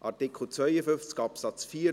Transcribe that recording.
Artikel 52 Absatz 4